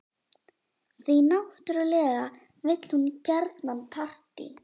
Því náttúrlega vill hún gjarnan partí.